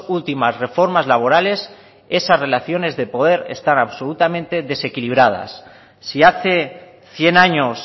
últimas reformas laborales esas relaciones de poder están absolutamente desequilibradas si hace cien años